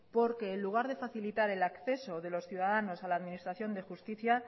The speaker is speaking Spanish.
porque en lugar de facilitar el acceso de los ciudadanos a la administración de justicia